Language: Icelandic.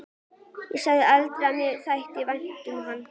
Ég sagði aldrei að mér þætti vænt um hann.